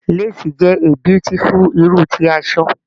Lace is abeautiful kind of fabric